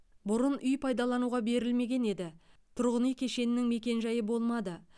бұрын үй пайдалануға берілмеген еді тұрғын үй кешенінің мекен жайы болмады